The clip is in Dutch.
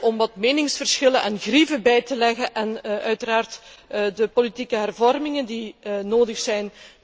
om wat meningsverschillen en grieven bij te leggen, en uiteraard de politieke hervormingen die nodig zijn.